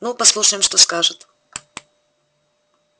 ну послушаем что скажет